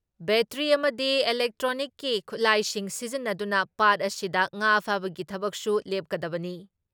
Battery ꯑꯃꯗꯤ ꯏꯂꯦꯛꯇ꯭ꯔꯣꯅꯤꯛꯀꯤ ꯈꯨꯠꯂꯥꯏꯁꯤꯡ ꯁꯤꯖꯤꯟꯅꯗꯨꯅ ꯄꯥꯠ ꯑꯁꯤꯗ ꯉꯥ ꯐꯥꯕꯒꯤ ꯊꯕꯛꯁꯨ ꯂꯦꯞꯀꯗꯕꯅꯤ ꯫